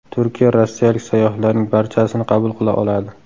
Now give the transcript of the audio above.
Turkiya rossiyalik sayyohlarning barchasini qabul qila oladi.